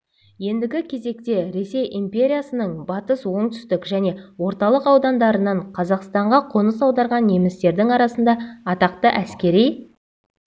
ендігі кезекте ресей империясының батыс оңтүстік және орталық аудандарынан қазақстанға қоныс аударған немістердің арасында атақты әскери